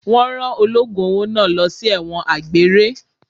Wọn rán ológun owó náà lọ sí ẹ̀wọ̀n àgbéré.